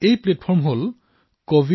এই প্লেটফৰ্ম হল covidwarriorsgovin